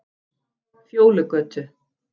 Fjólugötu